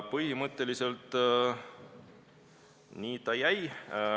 Põhimõtteliselt nii ta jäi.